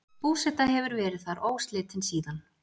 Búseta hefur verið þar óslitin síðan.